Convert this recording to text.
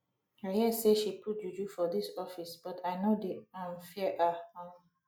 i hear say she put juju for dis office but i no dey um fear her um